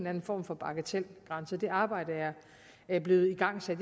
anden form for bagatelgrænse det arbejde er blevet igangsat